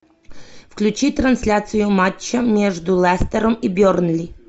включи трансляцию матча между лестером и бернли